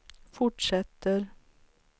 fortsätter